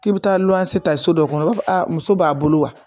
K'i bɛ taa lɔni ta so dɔ kɔnɔ o b'a fɔ a muso b'a bolo wa